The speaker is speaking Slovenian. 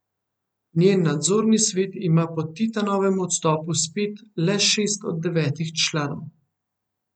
Njen nadzorni svet ima po Titanovem odstopu spet le šest od devetih članov.